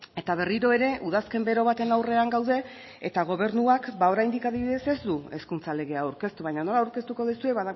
eta berriro ere udazken bero baten aurrean gaude eta gobernuak ba oraindik adibidez ez du hezkuntza legea aurkeztu baina nola aurkeztuko duzue